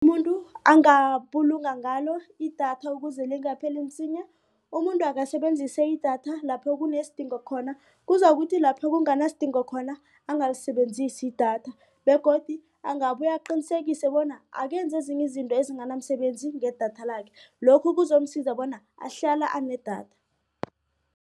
angabulunga ngalo idatha ukuze lingapheli msinya umuntu akasebenzisa idatha lapho kunesidingo. Kuzakuthi lapho kunganasidingo khona angalisebenzisi idatha begodu angabuye aqinisekise bona akenzi ezinye izinto ezinganamsebenzi ngedatha lakhe lokhu kuzomsiza bona ahlala enedatha.